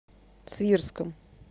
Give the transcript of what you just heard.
свирском